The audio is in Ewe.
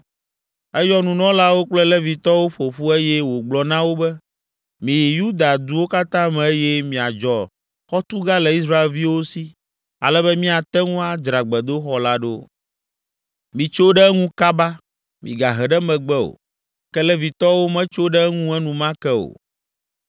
Eyɔ nunɔlawo kple Levitɔwo ƒo ƒu eye wògblɔ na wo be, “Miyi Yuda duwo katã me eye miadzɔ xɔtuga le Israelviwo si ale be míate ŋu adzra gbedoxɔ la ɖo. Mitso ɖe eŋu kaba! Migahe ɖe megbe o!” Ke Levitɔwo metso ɖe eŋu enumake o.